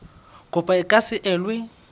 kopo e ka se elwe